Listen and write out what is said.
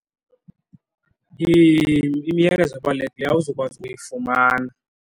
imiyalezo ebalulekileyo awuzukwazi uyifumana.